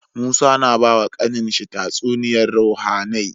Musa yAna bawa kAnan shi tatsuniyar ruhAnai